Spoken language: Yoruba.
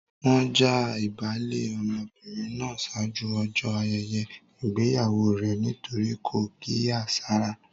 Wọ́n já ìbálé ọmọbìnrin náà ṣáájú ọjọ́ ayẹyẹ ìgbéyàwó rẹ nítorí kò kíyèsára.